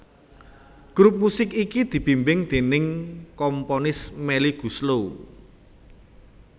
Grup musik iki dibimbing déning komponis Melly Goeslaw